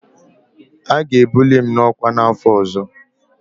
A ga-ebuli m n'ọkwa n'afọ ọzọ.